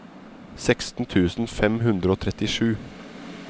seksten tusen fem hundre og trettisju